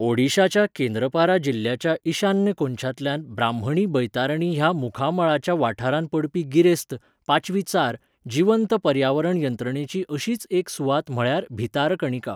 ओडिशाच्या केंद्रपारा जिल्ह्याच्या ईशान्य कोनशांतल्या ब्राह्मणी बैतारणी ह्या मुखामळाच्या वाठारांत पडपी गिरेस्त, पाचवीचार, जीवंत पर्यावरण यंत्रणेची अशीच एक सुवात म्हळ्यार भीतारकणिका.